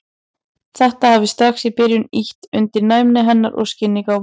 Þetta hafi strax í byrjun ýtt undir næmi hennar og skyggnigáfu.